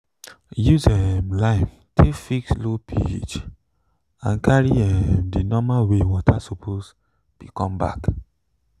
use um lime take fix low ph and carry um the normal way water suppose be come back